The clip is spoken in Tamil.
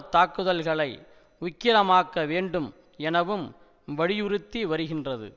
தாக்குதல்களை உக்கிரமாக்க வேண்டும் எனவும் வலியுறுத்தி வருகின்றது